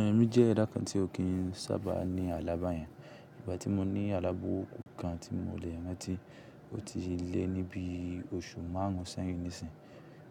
Ẹ̀mí jẹ́ ẹdà kan tí ó kì í sábà ní alábá yẹn. Ìgbà tí mo ní àlá burúkú kan tí mo lè rántí ó ti lé ní bí i oṣù márùn ún sẹ́yìn nísìyí.